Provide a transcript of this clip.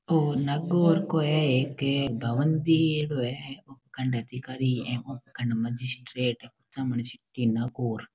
ओ नागौर को है एक भवन दियेड़ो है उपखंड अधिकारी एवं उपखण्ड मजिस्ट्रेट कुचामन सिटी नागौर।